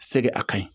Segi a ka ɲi